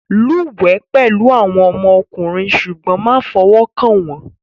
Lúwẹ̀ẹ́ pẹ̀lú àwọn ọmọkùnrin ṣùgbọ́n má fọwọ́ kàn wọ́n